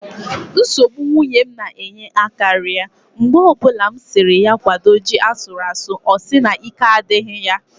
Nsogbụ nwunye m na-enye akaria mgbe o bụla m siri ya kwado ji asuru asụ ọ sị na ike adịghị ya